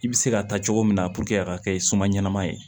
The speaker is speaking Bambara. I bɛ se ka taa cogo min na a ka kɛ suma ɲanama ye